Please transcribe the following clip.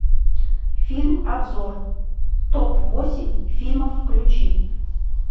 фильм обзор топ восемь фильмов включи